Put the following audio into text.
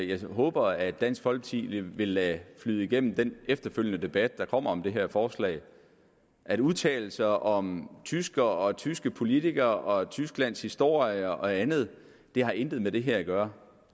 jeg håber at dansk folkeparti vil vil lade flyde igennem den efterfølgende debat om det her forslag at udtale sig om tyskere tyske politikere tysklands historie og andet har intet med det her at gøre